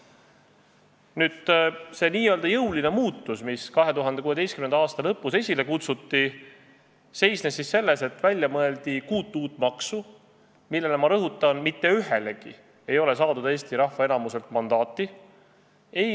Nüüd see nn jõuline muutus, mis 2016. aasta lõpus esile kutsuti, seisnes selles, et mõeldi välja kuus uut maksu, millele, ma rõhutan, mitte ühelegi ei ole saadud Eesti rahva enamuselt mandaati.